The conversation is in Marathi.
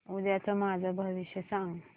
उद्याचं माझं भविष्य सांग